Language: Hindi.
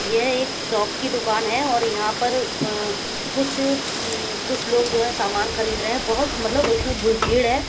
ये एक शॉप की दुकान है और यहां पर अह कुछ उम्म कुछ लोग जो हैं सामान खरीद रहे हैं बहुत मतलब इसमें भीड़ है।